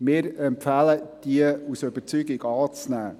Wir empfehlen aus Überzeugung, diese anzunehmen.